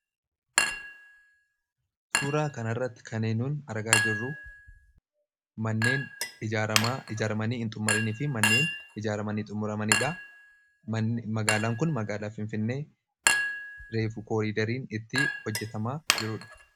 Suuraa kana irratti kaneen nu argaa jirru manneen ijaaramanii hin xumuraminiifi manneen ijaaramanii xumura. Magaalaan kun Finfinnee reefuu kooriideriin itti hojjetamaa jiruudha.